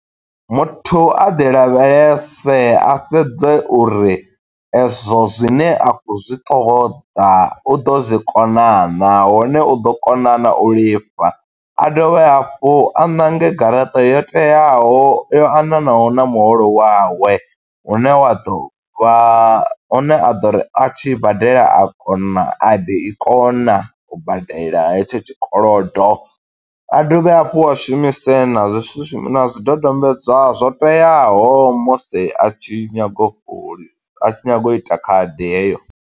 Muthu a ḓi lavhelese, a sedze uri e zwo zwine a khou zwi ṱoḓa, u ḓo zwi kona naa. Hone u ḓo kona naa, u lifha. A dovhe hafhu a ṋange garaṱa yo teaho, yo aṋwanaho na muholo wawe. Hune wa ḓo vha, hune a ḓo ri a tshi badela, a kona a ḓo i kona u badela he tsho tshikolodo. A dovhe hafhu a shumise na zwisusemi, na zwidodombedzwa zwo teaho musi a tshi nyaga u fulis, a tshi nyaga u ita khadi heyo.